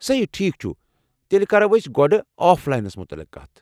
سہی، ٹھیٖک چھُ، تیٚلہ کرو أسۍ گۄڈٕ آف لاینَس متعلِق کتھ۔